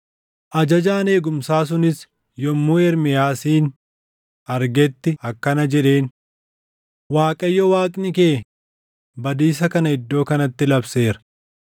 Ajajaan eegumsaa sunis yommuu Ermiyaasin argetti akkana jedheen; “ Waaqayyo Waaqni kee badiisa kana iddoo kanatti labseera.